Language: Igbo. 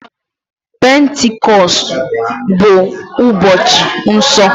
Pentikọstụ bụ ụbọchị nsọ.